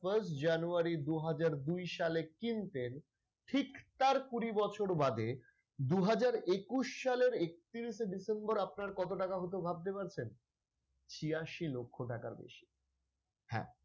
first january দু হাজার দুই সালে কিনতেন ঠিক তার কুড়ি বছর বাদে দু হাজার একুশ সালের একত্রিশে december আপনার কত টাকা হত ভাবতে পারছেন? ছিয়াশি লক্ষ টাকার বেশি হ্যাঁ।